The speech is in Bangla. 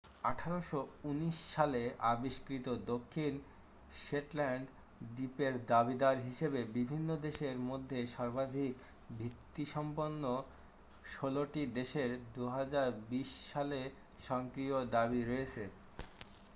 1819 সালে আবিষ্কৃত দক্ষিণ শেটল্যান্ড দ্বীপের দাবীদার হিসাবে বিভিন্ন দেশের মধ্যে সর্বাধিক ভিত্তিসম্পন্ন ষোলোটি দেশের 2020 সালে সক্রিয় দাবী রয়েছে